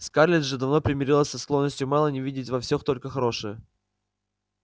скарлетт же давно примирилась со склонностью мелани видеть во всех только хорошее